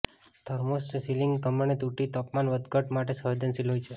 thermostat ceiling ધમણે તૂટી જે તાપમાન વધઘટ માટે સંવેદનશીલ હોય છે